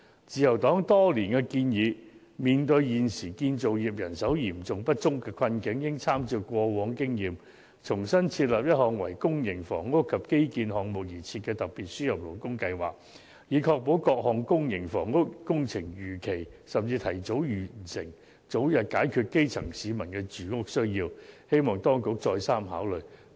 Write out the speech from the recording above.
自由黨多年來建議，面對現時建造業人手嚴重不足的困境，應參照過往的經驗，重新設立一項為公營房屋及基建項目而設的特別輸入勞工計劃，以確保各項公營房屋工程能夠如期甚至提早完成，早日解決基層市民的住屋需要，希望當局再三考慮。